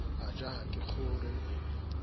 a ja ha ke kgore